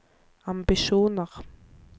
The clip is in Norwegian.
ambisjoner